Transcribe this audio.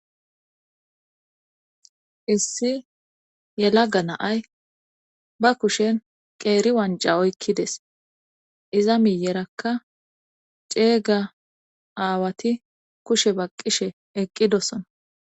Issi yelaga naay ba kushen qeeri wanca oykkides iza miyerakka ceeyga aawati kushe baqqishe eqqidosona.